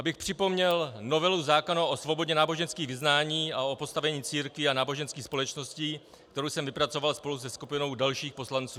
Abych připomněl novelu zákona o svobodě náboženských vyznání a o postavení církví a náboženských společností, kterou jsem vypracoval spolu se skupinou dalších poslanců.